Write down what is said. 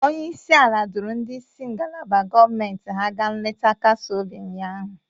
Onye isi ala duuru ndị isi ngalaba gọọmentị ya gaa nleta nkasi obi ụnyahụ.